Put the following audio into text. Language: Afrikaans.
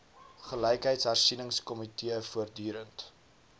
gelykheidshersie ningskomitee voortdurend